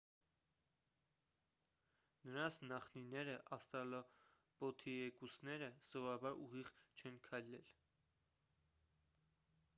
նրանց նախնիները ավստրալոպիթեկուսները սովորաբար ուղիղ չեն քայլել